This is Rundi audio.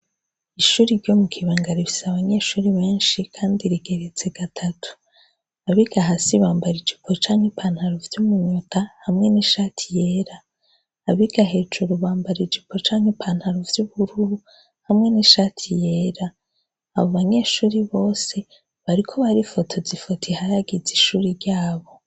Ishuri ryo mu Kibanga rifise abanyeshure benshi kandi rigeretse gatatu. Abiga hasi bambara ijipo canke ipantaro vyo mu nda hamwe n'ishati yera abiga hejuru bambara ijipo canke ipantaro vy'ubururu hamwe n'ishati yera, abo banyeshuri bose bariko barifotoza ifoto harageze ishure ryabo.